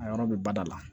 A yɔrɔ bɛ bada la